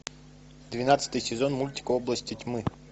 двенадцатый сезон мультик области тьмы